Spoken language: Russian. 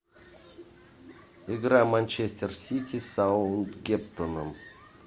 игра манчестер сити с саутгемптоном